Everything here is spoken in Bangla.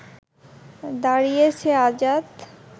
দাঁড়িয়েছে আজাদ